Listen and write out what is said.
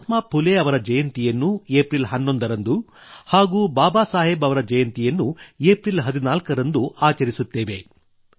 ಮಹಾತ್ಮಾ ಫುಲೆ ಅವರ ಜಯಂತಿಯನ್ನು ಏಪ್ರಿಲ್ ೧೧ರಂದು ಹಾಗೂ ಬಾಬಾ ಸಾಹೇಬ್ ಅವರ ಜಯಂತಿಯನ್ನು ಏಪ್ರಿಲ್ ೧೪ರಂದು ಆಚರಿಸುತ್ತೇವೆ